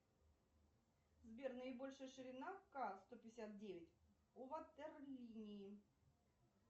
сбер наибольшая ширина ка сто пятьдесят девять у ватерлинии